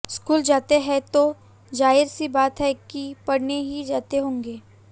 school जाते हैं तो जाहिर सी बात है कि पढ़ने ही जाते होंगे